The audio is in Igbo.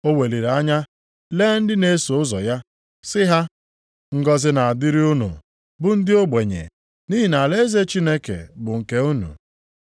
O weliri anya lee ndị na-eso ụzọ ya, sị ha, “Ngọzị na-adịrị unu bụ ndị ogbenye, nʼihi na alaeze Chineke bụ nke unu.